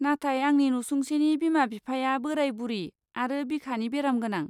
नाथाय आंनि नसुंसेनि बिमा बिफाया बोराय बुरि आरो बिखानि बेरामगोनां।